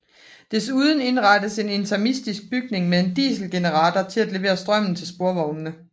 Desuden indrettedes en interimistisk bygning med en dieselgenerator til at levere strømmen til sporvognene